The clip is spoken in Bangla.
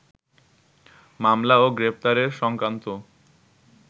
মামলা ও গ্রেপ্তার সংক্রান্ত